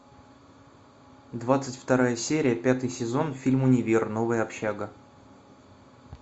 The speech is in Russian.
двадцать вторая серия пятый сезон фильм универ новая общага